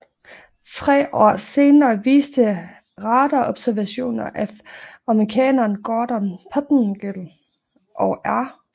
Tre år senere viste radarobservationer af amerikanerne Gordon Pettengill og R